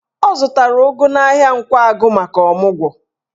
Ọ zụtara ụgụ n'ahịa Nkwagụ maka ọmụgwọ.